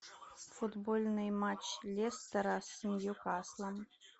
футбольный матч лестера с ньюкаслом